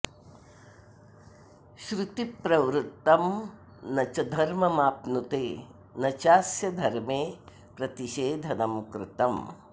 श्रुतिप्रवृत्तं न च धर्ममाप्नुते न चास्य धर्मे प्रतिषेधनं कृतम्